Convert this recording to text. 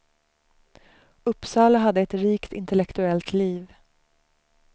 Uppsala hade ett rikt intellektuellt liv.